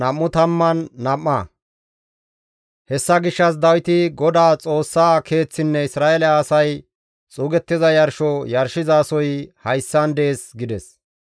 Hessa gishshas Dawiti, «Godaa Xoossaa keeththinne Isra7eele asay xuugettiza yarsho yarshizasoy hayssan dees» gides.